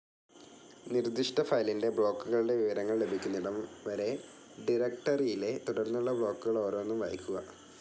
നിർദിഷ്ട ഫയലിൻ്റെ ബ്ലോക്കുകളുടെ വിവരങ്ങൾ ലഭിക്കുന്നിടം വരെ ഡിറക്ടറിയിലെ തുടർന്നുള്ള ബ്ലോക്കുകളോരോന്നും വായിക്കുക.